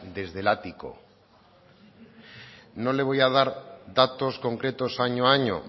desde el ático no le voy a dar datos concretos año a año